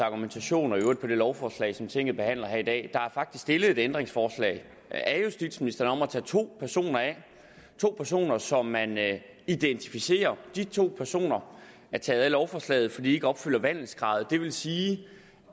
argumentation og i øvrigt på det lovforslag som tinget behandler her i dag der er faktisk stillet et ændringsforslag af justitsministeren om at tage to personer af to personer som man identificerer de to personer er taget af lovforslaget fordi de ikke opfylder vandelskravet det vil sige